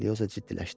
Eliyosa ciddiləşdi.